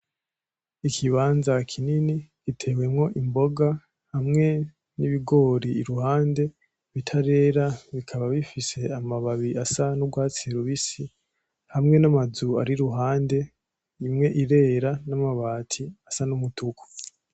ikibanza kinini gitewemwo imboga hamwe nibigori iruhande bitarera bikaba bifise amababi asa nurwatsi rubisi hamwe namazu ari iruhande imwe irera namabati asa numutuku